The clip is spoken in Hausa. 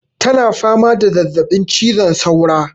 ta na fama da zazzabin cizon saura